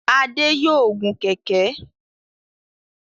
Adé yòó gun kẹ̀ẹ̀kẹ́.